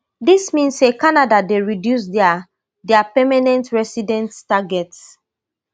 dis mean say canada dey reduce dia dia permanent resident targets